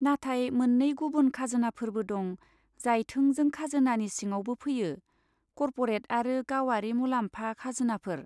नाथाय मोननै गुबुन खाजोनाफोरबो दं जाय थोंजों खाजोनानि सिङावबो फैयो, कर्परेट आरो गावारि मुलाम्फा खाजोनाफोर।